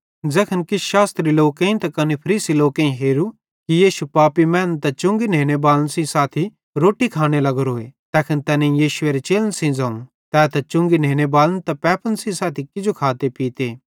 ज़ैखन किछ शास्त्री लोकेईं त कने फरीसी लोकेईं हेरू कि यीशु पापी मैनन् त चुंगी नेनेबालन सेइं साथी रोट्टी खाने लग्गोरोए तैखन तैनेईं यीशुएरे चेलन सेइं ज़ोवं तै चुंगी नेनेबालन त पैपन सेइं साथी किजो खाते पीते